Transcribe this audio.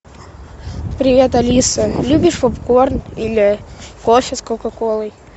привет алиса любишь попкорн или кофе с кока колой